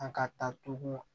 An ka taa tugun